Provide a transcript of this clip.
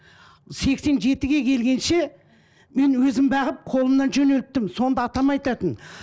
сексен жетіге келгенше мен өзім бағып қолымнан жөнелттім сонда атам айтатын